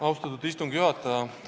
Austatud istungi juhataja!